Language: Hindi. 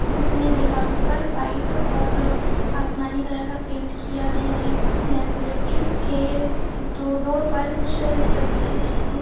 जिसमे दीवारों पर व्हाइट और आसमानी कलर का पेंट किया गया हैगा लेब्रोटरी के ड-डोर पर कुछ तस्वीर चिपकी हुई --